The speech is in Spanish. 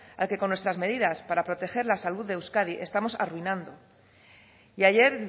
al que con nuestras medidas para proteger la salud de euskadi estamos arruinando y ayer